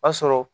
O y'a sɔrɔ